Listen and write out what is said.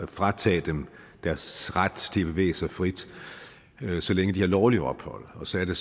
fratage dem deres ret til at bevæge sig frit så længe de har lovligt ophold så er det